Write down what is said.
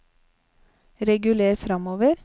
reguler framover